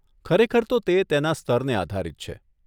ખરેખર તો તે તેના સ્તરને આધારિત છે.